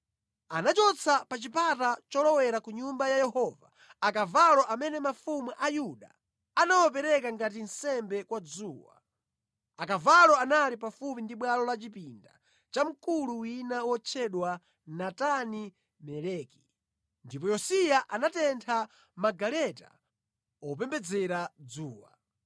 Anachotsa pa chipata cholowera ku Nyumba ya Yehova akavalo amene mafumu a Yuda anawapereka ngati nsembe kwa dzuwa. Akavalo anali pafupi ndi bwalo la chipinda cha mkulu wina wotchedwa Natani-Meleki. Ndipo Yosiya anatentha magaleta opembedzera dzuwa.